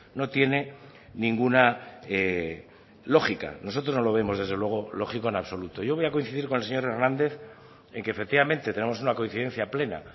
no tiene ninguna lógica nosotros no lo vemos desde luego lógico en absoluto yo voy a coincidir con el señor hernández en que efectivamente tenemos una coincidencia plena